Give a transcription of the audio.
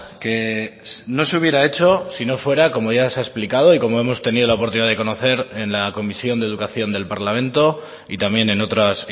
que no se hubiera hecho si no fuera como ya se ha explicado y como hemos tenido la oportunidad de conocer en la comisión de educación del parlamento y también en otras